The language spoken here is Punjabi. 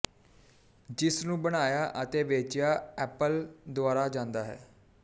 ਜਿਸ ਨੂੰ ਬਣਾਇਆ ਅਤੇ ਵੇਚਿਆ ਐਪਲ ਦੁਆਰਾ ਜਾਂਦਾ ਹੈ